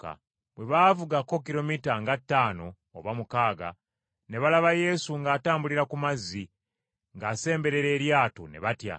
Bwe baavugako kilomita nga ttaano oba mukaaga, ne balaba Yesu ng’atambulira ku mazzi, ng’asemberera eryato, ne batya.